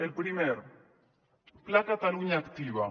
el primer pla catalunya activa